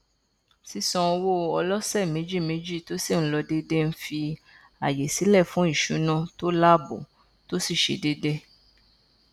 sísan owó ọlọsẹméjìméjì tó sì n lọ déédé n fi ààyè sìlẹ fún íṣúná tó láàbò tó sì ṣe déédé